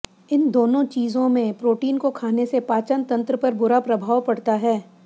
इन दोनों चीजों में प्रोटीन को खाने से पाचन तंत्र पर बुरा प्रभाव पड़ता है